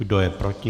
Kdo je proti?